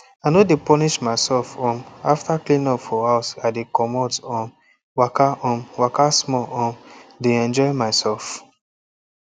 i no de punish myself um after cleanup for house i dey comot um waka um waka small um de enjoy myself